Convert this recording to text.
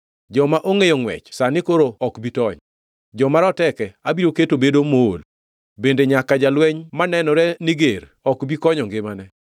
Joma ongʼeyo ngʼwech sani koro ok bi tony, joma rateke abiro keto bedo mool, bende nyaka jalweny manenore ni ger ok bi konyo ngimane.